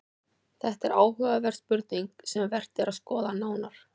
Þetta er áhugaverð spurning sem vert er að skoða nánar.